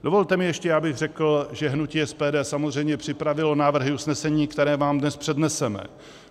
Dovolte mi ještě, abych řekl, že hnutí SPD samozřejmě připravilo návrhy usnesení, které vám dnes předneseme.